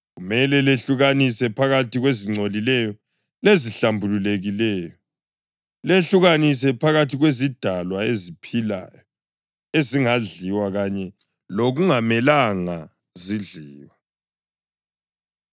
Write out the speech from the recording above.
Kumele lehlukanise phakathi kwezingcolileyo lezihlambulukileyo, lehlukanise phakathi kwezidalwa eziphilayo ezingadliwa kanye lokungamelanga zidliwe.’ ”